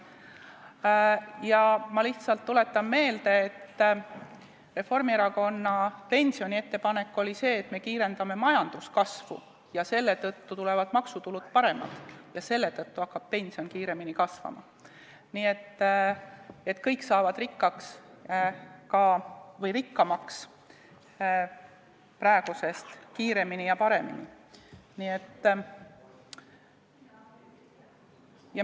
Ma lihtsalt tuletan meelde, et Reformierakonna pensioniettepanek oli see, et me kiirendame majanduskasvu ja selle tõttu on maksutulud paremad ja pension hakkab kiiremini kasvama, nii et kõik saavad rikkaks või praegusest rikkamaks kiiremini ja paremini.